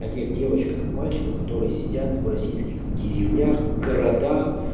от тех девочках и мальчиках которые сидят в российских деревнях городах